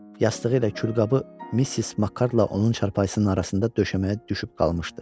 Yastığı ilə külqabı Missis Makardla onun çarpayısının arasında döşəməyə düşüb qalmışdı.